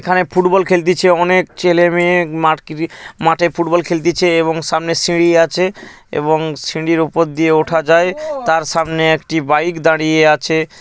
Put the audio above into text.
এখানে ফুটবল খেলতিছে অনেক ছেলে মেয়ে মাঠ মাঠে ফুটবল খেলতিছে এবং সামনের সিঁড়ি আছে এবং সিঁড়ির উপর দিয়ে ওঠা যায় তার সামনে একটি বাইক দাঁড়িয়ে আছে ।